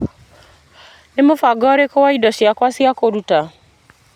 Nĩ mũbango ũrĩkũ wa indo ciakwa cia kũruta?